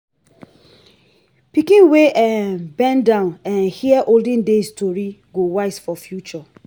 pikin wey um bend down um hear olden days story go wise for future.